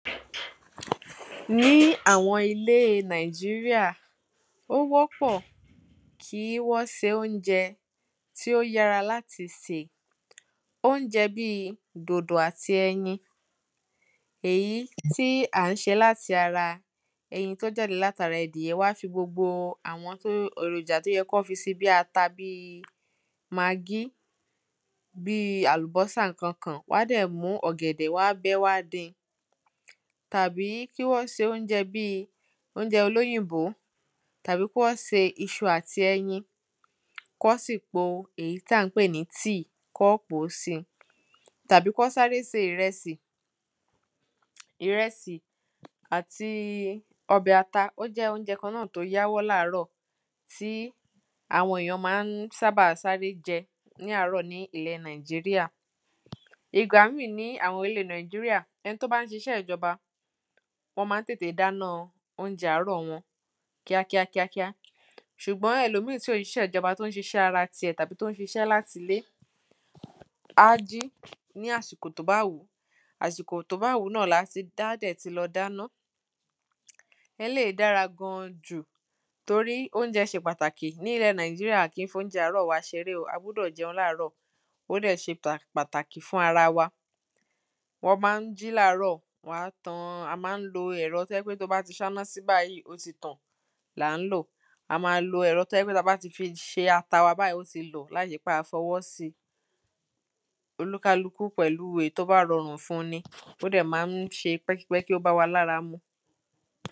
ni àwọn ilé Nigeria ó wọ́pọ̀ kí wọ́n se óunjẹ tí ó yára láti sè óunjẹ bíi dòdò àti ẹyin èyí tí à ń ṣè láti ara ẹyin tí o jáde láti ara ẹdìyẹ wa wọ́n á fi gbogbo àwọn tí èròjà tí ó yẹ kí wọ́n fisi bíi ata bíi magí bíi àlùbọ́sà ǹkankàn wọ́n á dẹ̀ mú ọ̀gẹ̀dẹ̀ wọ́n á bẹ ẹ́ wọ́n á din tàbí kí wọ́n se óunjẹ bíi óunjẹ olóyìnbó tàbí kí wọ́n se iṣu àti ẹyin kí wọ́n sì po èyí tí à ń pé ní tea kí wọ́n pò ó sí i tàbí kí wọ́n sáré se ìrẹsì ìrẹsì àtí ọbẹ̀ ata ó jẹ́ óunjẹ kan náà tí ó yáwọ́ ní àárọ̀ tí àwọn èyàn máa ń sábà sáré jẹ́ ní àárọ̀ ní ilẹ̀ Nigeria ìgbà míì ní àwọn ilé Nigeria ẹni tí ó bá ṣiṣẹ́ ìjọba wọ́n máa ń tètè dána óunjẹ àárọ̀ wọn kíákíá kíákíá ṣùgbọ́n ẹlòmíì tí ò ṣiṣẹ́ ìjọba tí ó ṣiṣẹ́ ara tíẹ̀ tàbí tí ó ń ṣiṣẹ́ láti ilé á á jí ní àsìkò tí ó bá wù ú àsìkò tí ó bá wù ú náà ni á ti ni á dẹ̀ ti lọ dáná eléyì dára gan an jù torí óunjẹ ṣe pàtàkì ní ilẹ̀ Nigeria a kì ń fi óunjẹ àárọ̀ wa ṣeré o a gbúdọ̀ jẹun ní àárọ̀ ó dẹ ṣe pàtàkì fún ara wa wọ́n máa ń jí ní àárọ̀ wọ́n á tan a máa ń lo ẹ̀rọ tí ó jẹ́ pé tí o bá ti ṣáná si báyì ó ti tàn a máa lo ẹ̀rọ tí ó jẹ́ pé tí a bá ti fi ṣe ata wa báyì ó ti lọ̀ láìṣe pé a fi ọwọ́ si olúkálùkù pẹ̀lú èyí tí ó bá rọrùn fun un ni ó dẹ̀ máa ń ṣe pẹ́kípẹ́kí ó bá wa ní ara mu